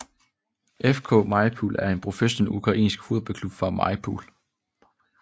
FK mariupol er en professionel ukrainsk fodboldklub fra Mariupol